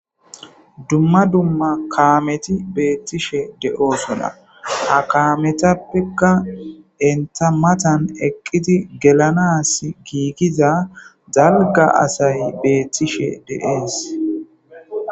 dumma dumma kaameti beettishe de7oosona ha kaametappekka enta matan eqqiti gelanas giikiza zalga asay beettishe deees